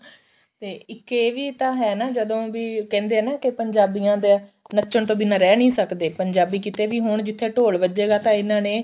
ਤੇ ਇੱਕ ਇਹ ਵੀ ਤਾਂ ਹੈ ਨਾ ਕਿ ਜਦੋਂ ਵੀ ਕਹਿੰਦੇ ਆ ਨਾ ਕਿ ਪੰਜਾਬੀਆਂ ਦਾ ਨੱਚਣ ਤੋਂ ਬਿਨਾ ਰਹਿ ਨਹੀਂ ਸਕਦੇ ਪੰਜਾਬੀ ਕਿਤੇ ਵੀ ਹੋਣ ਜਿੱਥੇ ਢੋਲ ਵਜੇਗਾ ਤਾਂ ਇਹਨਾ ਨੇ